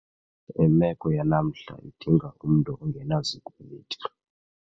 Imeko yanamhla idinga umntu ongenazikweliti.